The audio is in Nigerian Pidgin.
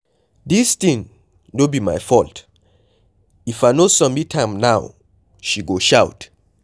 Dis thing no be my fault, if I no submit am now she go shout.